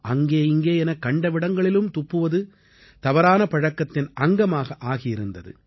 அங்கே இங்கே என கண்டவிடங்களிலும் துப்புவது தவறான பழக்கத்தின் அங்கமாக ஆகியிருந்தது